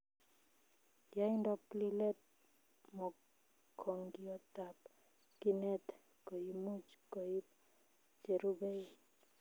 Yaindop lilet mokongiotab kinet koimuch koip cherubei